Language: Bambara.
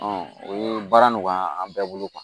o ye baara nɔgɔya an bɛɛ bolo